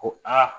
Ko aa